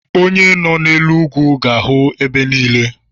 Onye nọ n'elu ugwu ga-ahụ ebe niile